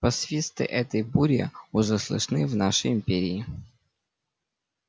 посвисты этой бури уже слышны в нашей империи